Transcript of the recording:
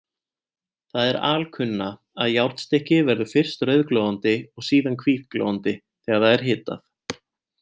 Það er alkunna, að járnstykki verður fyrst rauðglóandi og síðan hvítglóandi þegar það er hitað.